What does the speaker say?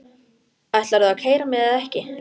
Ætlarðu að keyra mig eða ekki?